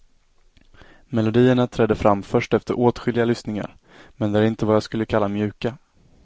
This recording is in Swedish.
Melodierna träder fram först efter åtskilliga lyssningar, men är inte vad jag skulle kalla mjuka.